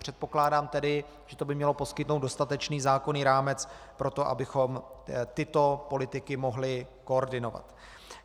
Předpokládám tedy, že to by mělo poskytnout dostatečný zákonný rámec pro to, abychom tyto politiky mohli koordinovat.